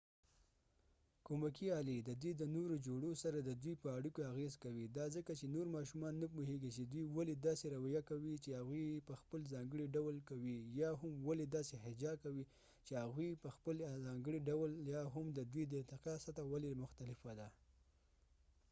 کومکې آلی ددوي د نورو جوړو سره ددوي په اړیکو اغیز کوي دا ځکه چې نور ماشومان نه پوهیږی چې دوي ولی داسې رويه کوي چې هغوي یې په خپل ځانګړی ډول کوي یا هم ولی داسې حجا کوي چې هغوي یې په خپل ځانګړی ډول کوي یا هم ددوي د ارتقا سطحه ولی مختلفه ده